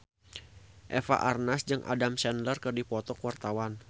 Eva Arnaz jeung Adam Sandler keur dipoto ku wartawan